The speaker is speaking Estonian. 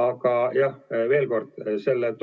Aga jah, veel kord: sellest